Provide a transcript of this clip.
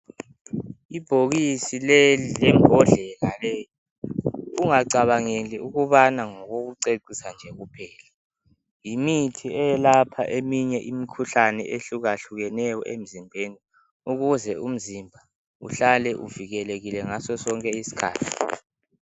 Ibhokisi leli lembodlela leyi ungacabangeli ukubana ngokokucecisa nje kuphela. Yimithi eyelapha eminye imikhuhlane ehluka hlukeneyo emzimbeni ,ukuze umzimba uhlale uvikelekile ngaso sonke isikhathi.